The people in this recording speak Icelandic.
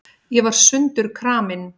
Ég var sundurkramin.